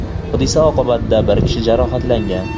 Hodisa oqibatida bir kishi jarohatlangan.